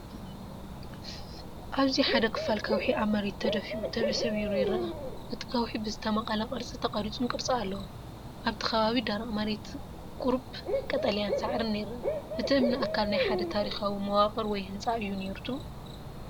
ኣብዚ ሓደ ክፋል ከውሒ ኣብ መሬት ተደፊኡ፡ ተሰቢሩ ይርአ። እቲ ከውሒ ብዝተመቕለ ቅርጺ ተቐሪጹን ቅርጺ ኣለዎ። ኣብቲ ከባቢ ደረቕ መሬትን ቁሩብ ቀጠልያ ሳዕርን ይርአ። እቲ እምኒ ኣካል ናይ ሓደ ታሪኻዊ መዋቕር ወይ ህንጻ እዩ ነይሩ ትብሉ?